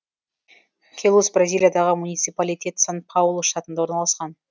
келус бразилиядағы муниципалитет сан паулу штатында орналасқан